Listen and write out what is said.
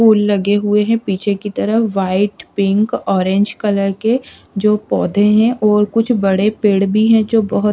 फूल लगे हुए हैं पीछे की तरफ व्हाइट पिंक ऑरेंज कलर के जो पौधे हैं और कुछ बड़े पेड़ भी हैं जो बहुत--